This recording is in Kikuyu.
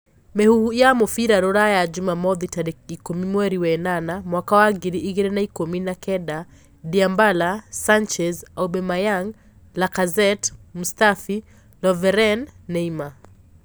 Mihuhu ya mũbira Rũraya Jumamothi tariki ikũmi mweri wa enana mwaka wa ngiri igĩrĩ na ikumi na kenda: Dymbala, Sanchez, Aubameyang, Lacazette, Mustafi, Loveren, Neymar.